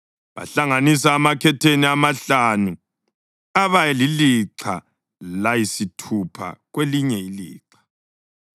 Bahlanganisa amakhetheni amahlanu aba lilixha layisithupha kwelinye ilixha.